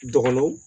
Dɔgɔnɔ